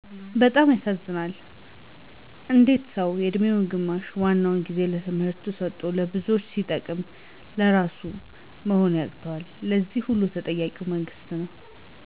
በጣም ያሳዝነኛል። እንዴት ሰው የእድሜውን ግማሹንና ዋነኛው ጊዜ ለትምህርት ሰጦ ለብዙዎች ሲጠበቅ ለራሱም መሆን ያቅተዋል! ለዚህ ሁሉ ተጠያቂው መንግስት ነው።